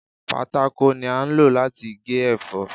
Pátákó ni a ń lò láti gé ẹ̀fọ́.